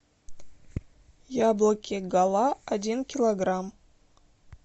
яблоки гала один килограмм